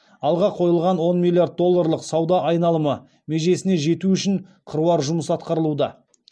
алға қойылған он миллиард долларлық сауда айналымы межесіне жету үшін қыруар жұмыс атқарылуда